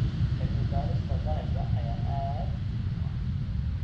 Cilmi-baarista dalagga ayaa aad muhiim u ah.